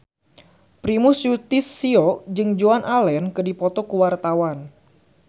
Primus Yustisio jeung Joan Allen keur dipoto ku wartawan